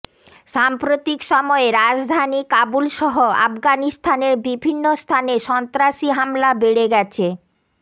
সাম্প্রতিক সময়ে রাজধানী কাবুলসহ আফগানিস্তানের বিভিন্ন স্থানে সন্ত্রাসী হামলা বেড়ে গেছে